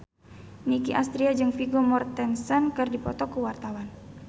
Nicky Astria jeung Vigo Mortensen keur dipoto ku wartawan